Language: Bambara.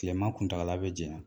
Tilema kuntagala be jaɲa.